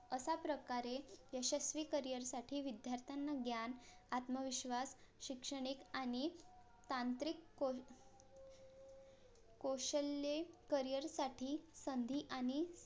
असाप्रकारे यशस्वी career साठी विद्यार्थ्यांना ज्ञान आत्मविश्वास शिक्षणिक आणि तांत्रिक कौ कौशल्ये career साठी संधी आणि